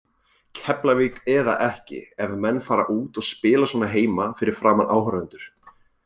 Keflavík eða ekki, ef menn fara út og spila svona heima fyrir framan áhorfendur.